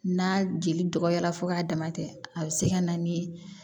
N'a jeli dɔgɔyara fo k'a dama tɛ a bɛ se ka na ni